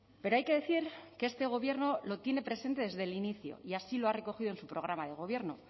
pero hay que decir que este gobierno lo tiene presente desde el inicio y así lo ha recogido en su programa de gobierno